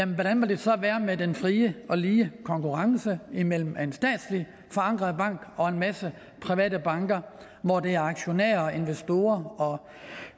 hvordan vil det så være med den frie og lige konkurrence mellem en statslig forankret bank og en masse private banker hvor det er aktionærer og investorer og